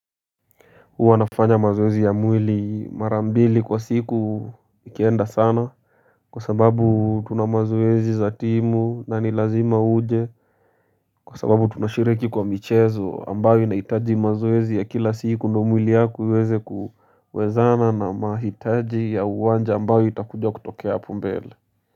Huwa nafanya mazoezi ya mwili mara mbili kwa siku ikienda sana Kwa sababu tuna mazoezi za timu na ni lazima uje Kwa sababu tunashiriki kwa michezo ambayo inahitaji mazoezi ya kila siku ndio mwili yako iweze kuwezana na mahitaji ya uwanja ambayo itakuja kutokea hapo mbele.